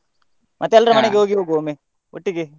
ಮತ್ತೆ ಎಲ್ರ ಹೋಗಿ ಹೋಗ್ವ ಒಮ್ಮೆ ಒಟ್ಟಿಗೆ.